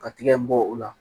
Ka tigɛ in bɔ o la